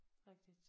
Rigtigt